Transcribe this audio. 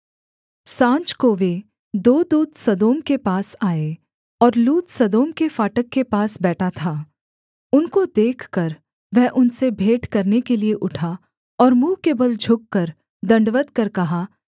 साँझ को वे दो दूत सदोम के पास आए और लूत सदोम के फाटक के पास बैठा था उनको देखकर वह उनसे भेंट करने के लिये उठा और मुँह के बल झुककर दण्डवत् कर कहा